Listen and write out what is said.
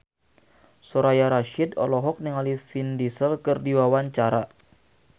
Soraya Rasyid olohok ningali Vin Diesel keur diwawancara